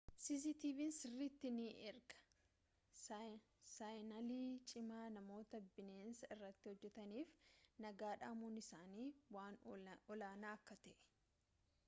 cctv'n sirritti ni ergaa saayinalii cimaa namoota bineensa irratti hojjetaniif nagaa dhamuun isaanii waan olaanaa akka ta'ee